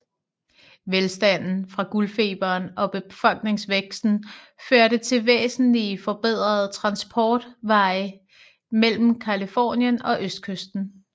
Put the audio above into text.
Velstanden fra guldfeberen og befolkningsvæksten førte til væsentligt forbedrede transportveje mellem Californien og østkysten